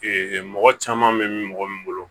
mɔgɔ caman bɛ mɔgɔ min bolo